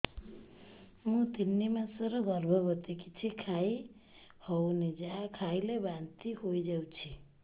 ମୁଁ ତିନି ମାସର ଗର୍ଭବତୀ କିଛି ଖାଇ ହେଉନି ଯାହା ଖାଇଲେ ବାନ୍ତି ହୋଇଯାଉଛି